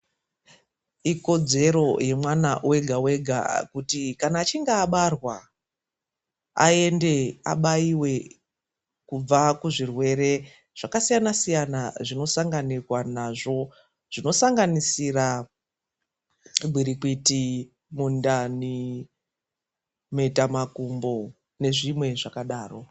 Ikodzero yemwana wega-wega kuti kana achinge abarwa ayende abayiwe kubva kuzvirwere zvakasiyana-siyana. Zvinosanganirwa nazvo, zvinosanganisira, gwirikwiti ,mundani, mhetamakumbo nezvimwe zvakadaro.